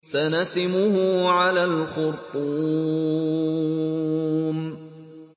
سَنَسِمُهُ عَلَى الْخُرْطُومِ